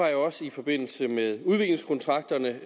jeg også i forbindelse med udviklingskontrakterne